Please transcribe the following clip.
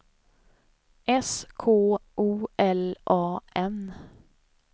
S K O L A N